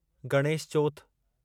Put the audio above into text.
Ganesh Chauth